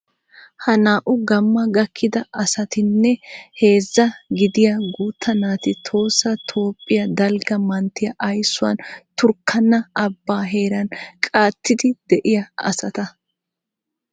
Ha naa"u gamma gakkida asatinne heezzaa gidiya guutta naati tohossa Toophphiya dalgga manttiya aysuwan turkkaana abbaa heeran qatidi de'iya asata.